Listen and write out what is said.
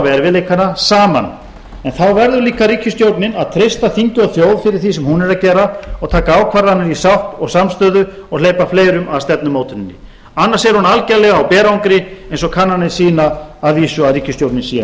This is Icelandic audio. erfiðleikana saman en þá verður líka ríkisstjórnin að treysta þingi og þjóð fyrir því sem hún er að gera og taka ákvarðanir í sátt og samstöðu og hleypa fleirum að stefnumótuninni annars er hún algjörlega á berangri eins og kannanir sýna að vísu að ríkisstjórnin sé